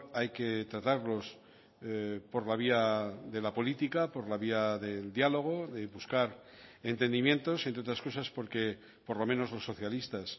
hay que tratarlos por la vía de la política por la vía del diálogo de buscar entendimientos entre otras cosas porque por lo menos los socialistas